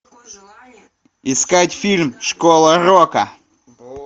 искать фильм школа рока